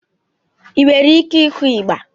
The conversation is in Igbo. Ị nwere ike ịkụ ịgba?